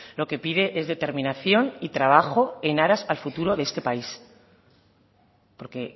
lo que pide es determinación y trabajo en aras al futuro de este país porque